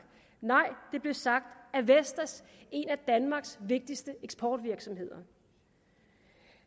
nej det blev sagt af vestas en af danmarks vigtigste eksportvirksomheder